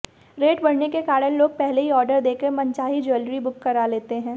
rate बढ़ने के कारण लोग पहले ही आर्डर देकर मनचाही ज्वैलरी बुक करा लेते हैं